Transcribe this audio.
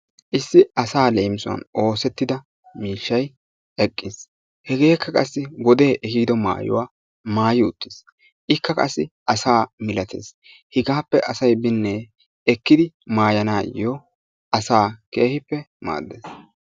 Issi asaa leemisuwan oosettida miishshay eqqis hegeekka qassi wodee ehiido maayuwaa maayi uttis ikka qassi asaa milates hegaappe asay binne ekkidi maayiganaayoo asaa keehippe maaddes.